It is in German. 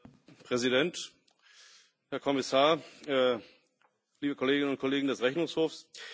Herr Präsident, Herr Kommissar, liebe Kolleginnen und Kollegen des Rechnungshofs!